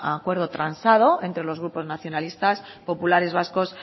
acuerdo transado entre los grupos nacionalistas populares vascos